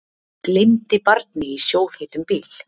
Gleymdi barni í sjóðheitum bíl